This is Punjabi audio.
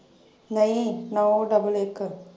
ਨਈਂ ਨੌ double ਇੱਕ।